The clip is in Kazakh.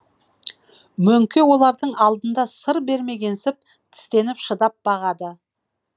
мөңке олардың алдында сыр бермегенсіп тістеніп шыдап бағады